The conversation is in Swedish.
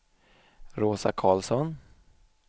Rosa Carlsson